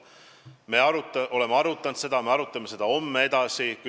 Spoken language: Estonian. Me oleme seda arutanud ja me arutame seda homme edasi.